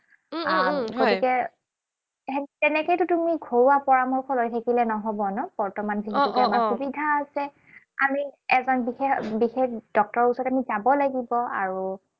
উম উম উম গতিকে তেনেকৈতো তুমি ঘৰুৱা পৰামৰ্শ লৈ থাকিলে নহব ন? আহ আহ বৰ্তমান যিখিনি আমাৰ সুবিধা আছে। আমি এজন বিশেষ বিশেষ ডক্তৰৰ ওচৰত আমি যাব লাগিব। আৰু